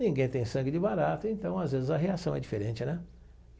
Ninguém tem sangue de barata, então às vezes a reação é diferente, né?